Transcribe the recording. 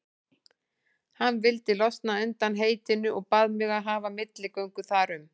Hann vildi losna undan heitinu og bað mig að hafa milligöngu þar um.